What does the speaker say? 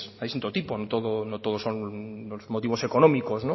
hay todo tipo no todos son motivos económicos